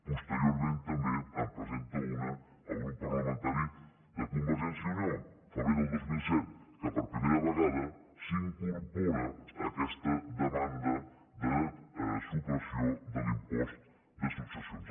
posteriorment també en presenta una el grup parlamentari de convergència i unió febrer del dos mil set que per primera vegada s’incorpora en aquesta demanda de supressió de l’impost de successions